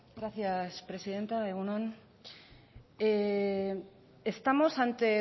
gracias presidenta egun on estamos ante